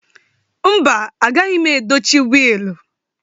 Mba, agaghị m edochi wiilịnụ